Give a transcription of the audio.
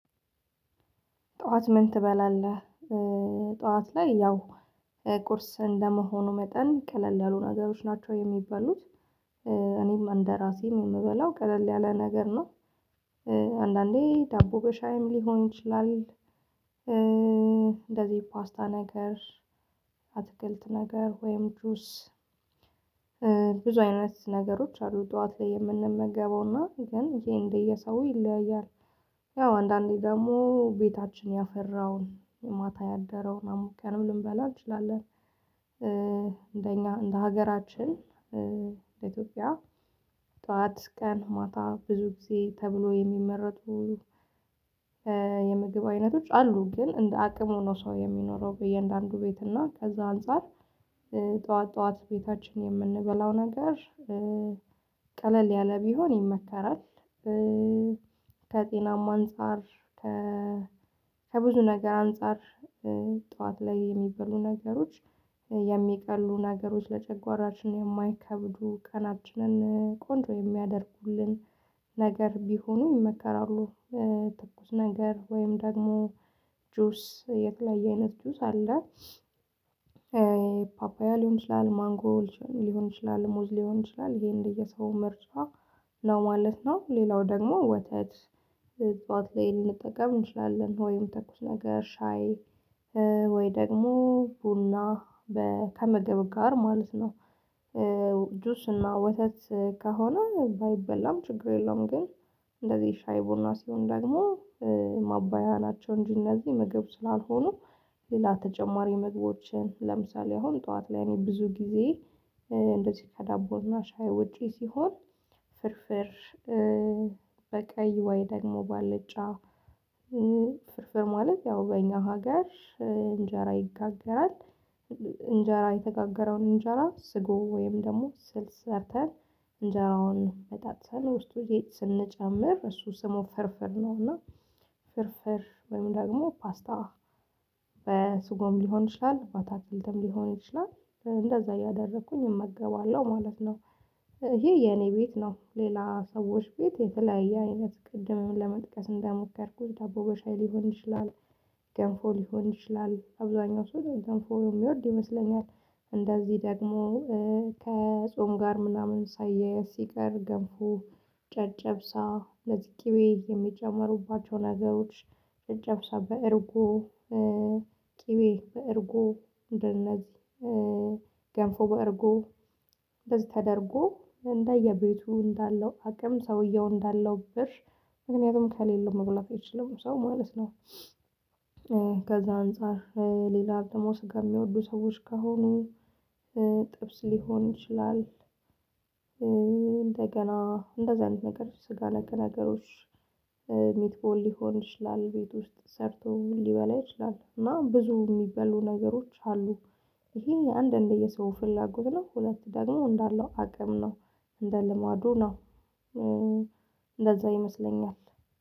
ጥዋት ምን ትበላለህ? ጥዋት ላይ ያው ቁርስ እንደ መሆኑ መጠን ቀለል ያሉ ነገሮች ናቸው የሚበሉት። እኔም እንደራሴም የምበላው ቀለል ያለ ነገር ነው። አንዳንዴ ዳቦ በሻይም ሊሆን ይችላል። እንደዚህ ፓስታ ነገር አትክልት ነገር ወይም ጁስ። ብዙ አይነት ነገሮች አሉ ጠዋት ላይ የምንመገበውና ግን ይሄ እንደ የሰው ይለያያል። ያው አንዳንዴ ደግሞ ቤታችን ያፈራውን የማታ ያደረውን አሙቀንም ልንበላ እንችላለን። እንደኛ እንደ ሀገራችን ለኢትዮጵያ ጠዋት ቀን ማታ ብዙ ጊዜ ተብሎ የሚመረጡ የምግብ አይነቶች አሉ። ግን እንደ አቅም ሆኖ ሰው የሚኖረው በእያንዳንዱ ቤት እና ከዛ አንፃር። ጠዋት ጠዋት ቤታችን የምንበላው ነገር ቀለል ያለ ቢሆን ይመከራል። ከጤናማ አንፃር ከ ከብዙ ነገር አንፃር ጠዋት ላይ የሚበሉ ነገሮች የሚቀሉ ነገሮች ለጨጓራችን የማይከብዱ ቀናችንን ቆንጆ የሚያደርጉልን ነገር ቢሆኑ ይመከራሉ። ትኩስ ነገር ወይም ደግሞ ጁስ የተለያየ አይነት ጁስ አለ። ፓፓያ ሊሆን ይችላል ማንጎ ሊሆን ይችላል ሙዝ ሊሆን ይችላል ይሄን እንደ የሰው ምርሷ ነው ማለት ነው። ሌላው ደግሞ ወተት ጠዋት ላይ ልንጠቀም እንችላለን ወይም ተኩስ ነገር ሻይ ወይ ደግሞ ቡና ከመገብ ጋር ማለት ነው። ጁስ እና ወተት ከሆነ ባይበላም ችግር የለውም። ግን እንደዚህ ሻይ ቡና ሲሆን ደግሞ ማባያ ናቸው እንጂ እነዚህ ምግብ ስላልሆኑ። ሌላ ተጨማሪ መግባቦችን ለምሳሌ አሁን ጠዋት ላይ እኔ ብዙ ጊዜ እንደዚህ ከዳቦና ሻይ ውጪ ሲሆን ፍርፍር በቀይ ወይ ደግሞ ባልጫ ፍርፍር ማለት ያው በእኛ ሀገር እንጀራ ይጋገራል። እንጀራ የተጋገረውን እንጀራ ስጎ ወይም ደግሞ ስልስ ሰርተን እንጀራውን በጣጥሰን ውስጡ ስንጨምር እሱ ስሙ ፍርፍር ነው። እና ፍርፍር ወይም ደግሞ ፓስታ በስጎም ሊሆን ይችላል ባታክልትም ሊሆን ይችላል እንደዛ እያደረኩኝ እመገባለሁ ማለት ነው። ይሄ የኔ ቤት ነው። ሌላ ሰዎች ቤት የተለያየ አይነት ቅድምም ለመጥቀስ እንደሞከርኩት ዳቦ በሻይ ሊሆን ይችላል። ገንፎ ሊሆን ይችላል አብዛኛው ሰው ገንፎ የሚወድ ይመስለኛል። እንደዚህ ደግሞ ከጾም ጋር ምናምን ሳያያዝ ሲቀር ገንፎ ጨጨብሳ ለወዝ ቅቤ የሚጨምሩባቸው ነገሮች ጨጨብሳ እርጓ ቅቤ በእርጓ እንደነዚህ ገንፎ በእርጓ እንደዚህ ተደርጎ እንደየቤቱ እንዳለው አቅም ሰውየው እንዳለው ብር ምክንያቱም ከሌለው መብላት አይችልም ሰው ማለት ነው። ከዛ አንፃር ሌላ ደግሞ ስጋ የሚወዱ ሰዎች ከሆኑ ጥብስ ሊሆን ይችላል። እንደገና እንደዛ አይነት ነገሮች ስጋ ነክ ነገሮች ሚትቦል ሊሆን ይችላል ቤት ውስጥ ሰርተው ሊበላ ይችላል እና ብዙ የሚበሉ ነገሮች አሉ። ይሄን የአንድ እንደየሰው ፍላጎት ነው ሁለት ደግሞ እንዳለው አቅም ነው። እንደ ልማዱ ነው። እንደዛ ይመስለኛል።